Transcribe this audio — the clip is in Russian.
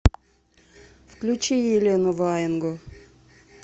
включи елену ваенгу